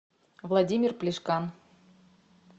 владимир плешкан